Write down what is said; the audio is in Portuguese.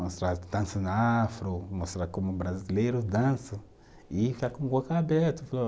Mostrar dança afro, mostrar como brasileiros dançam e ficar